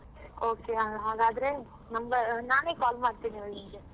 Okay ಆಗಾದ್ರೆ number ನಾನೇ call ಮಾಡ್ತೀನಿ ನಿಂಗೆ.